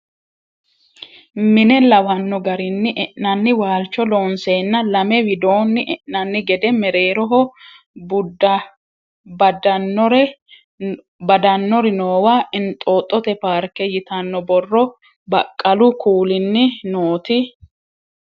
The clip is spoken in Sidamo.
Mine lawanno garinni e'nanni waalcho loonseenna lame widoonni e'nanni gede mereeroho badannori noowa inxooxxote paarke yitanno borro baqqalu kuuliinni noot3